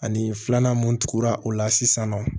Ani filanan mun tugura o la sisan nɔ